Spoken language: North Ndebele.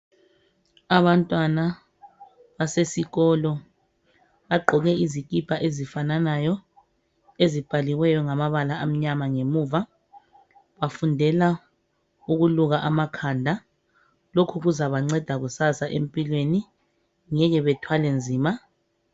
Abantwana basesikolo bagqoke izikipa ezifananayo ezibhaliweyo ngamabala amnyama ngemuva bafundela ukuluka amakhanda lokho kuzabanceda kusasa empilweni ngeke bethwale nzima